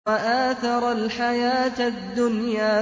وَآثَرَ الْحَيَاةَ الدُّنْيَا